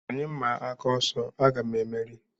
Anyị maa aka ọsọ, aga m emeri